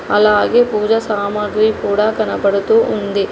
అలాగే పూజ సామాగ్రి కూడ కనబడుతూ ఉంది.